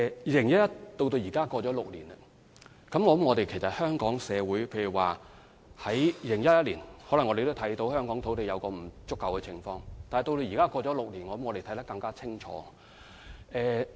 2011年距今已有6年，我相信香港社會在2011年雖然看到香港土地存在不足的問題，但這問題在6年後的今天應更加明顯。